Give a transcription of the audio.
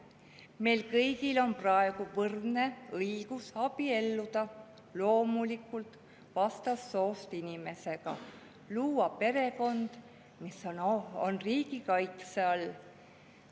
Meil kõigil on praegu võrdne õigus abielluda – loomulikult vastassoost inimesega – ja luua perekond, mis on riigi kaitse all.